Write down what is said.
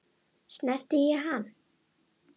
Snerti ég hann?